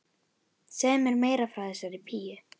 Segðu mér meira frá þessari píu.